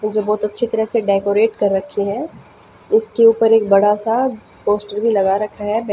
जो बहुत अच्छी तरह से डेकोरेट कर रखी हैं उसके ऊपर एक बड़ा सा पोस्टर भी लगा रखा है।